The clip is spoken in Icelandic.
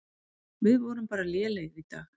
Við vorum bara lélegir í dag.